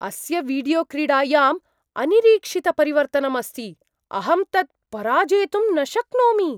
अस्य वीडियो क्रीडायाम् अनिरीक्षितपरिवर्तनम् अस्ति। अहं तत् पराजेतुं न शक्नोमि!